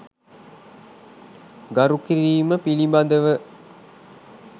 ගරු කිරීම පිළිබඳව